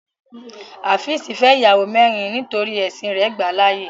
Háfìsí fẹ́ iyàwọ mẹ̀rìn nítorí ẹ̀ṣìn rè gbà láàyè.